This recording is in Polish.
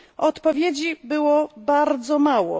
Odpowiedzi było bardzo mało.